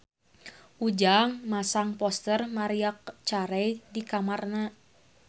Ujang masang poster Maria Carey di kamarna